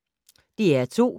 DR2